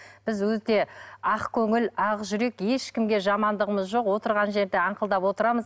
біз өте ақкөңіл ақ жүрек ешкімге жамандығымыз жоқ отырған жерде аңқылдап отырамыз